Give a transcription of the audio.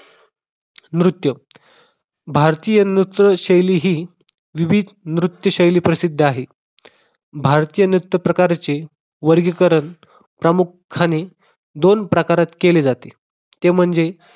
नृत्य भारतीय नृत्यशैली ही विविध नृत्य शैली प्रसिद्ध आहे. भारतीय नृत्य प्रकारचे वर्गीकरण प्रामुख्याने दोन प्रकारात केले जाते. ते म्हणजे